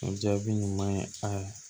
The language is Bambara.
O jaabi ɲuman ye a